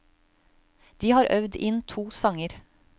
De har øvd inn to sanger.